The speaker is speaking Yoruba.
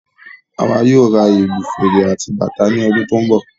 Àwa yóò ra ìlù, fèrè àti bàtà ní ọdún tó n bọ